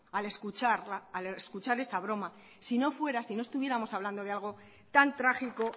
al escuchar esa broma si no estuviéramos hablando de algo tan trágico